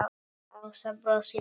Ása brosir líka.